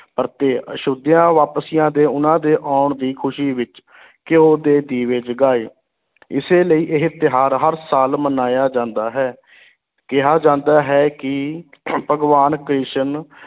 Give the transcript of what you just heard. ਪਰਤੇ ਅਯੋਧਿਆ ਵਾਪਸੀਆਂ ਦੇ ਉਨ੍ਹਾਂ ਦੇ ਆਉਣ ਦੀ ਖੁਸ਼ੀ ਵਿੱਚ ਘਿਓ ਦੇ ਦੀਵੇ ਜਗਾਏ, ਇਸੇ ਲਈ ਇਹ ਤਿਉਹਾਰ ਹਰ ਸਾਲ ਮਨਾਇਆ ਜਾਂਦਾ ਹੈ ਕਿਹਾ ਜਾਂਦਾ ਹੈ ਕਿ ਭਗਵਾਨ ਕ੍ਰਿਸ਼ਨ